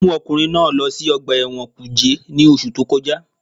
Wọ́n mú ọkùnrin náà lọ sí ọgbà ẹ̀wọ̀n kùjé ní oṣù tó kọjá